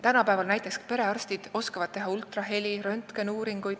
Tänapäeval oskavad perearstid teha näiteks ultraheli, röntgenuuringuid.